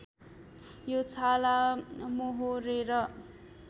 यो छाला मोहोरेर